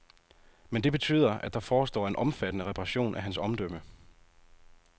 Men det betyder, at der forestår en omfattende reparation af hans omdømme.